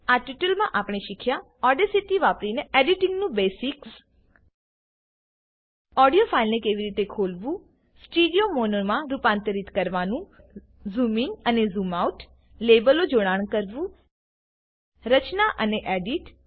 આ ટ્યુટોરીયલમાં આપણે શીખ્યા ઓડેસીટી વાપરીને એડીટીંગનું બેસિક્સ રચના અને એડીટ